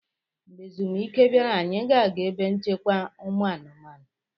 Mgbe ezumike bịara, anyị ga-aga ebe nchekwa ụmụanụmanụ.